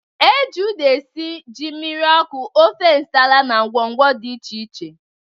E ji uda esi ji mmiri ọkụ, ofe nsala na ngwọngwọ dị iche iche.